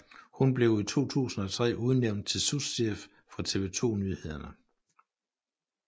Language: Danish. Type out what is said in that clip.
Hun blev i 2003 udnævnt til souschef for TV 2 Nyhederne